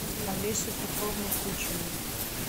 алесю петровну кучину